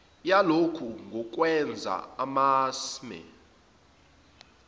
yalokhu ngukwenza amasmme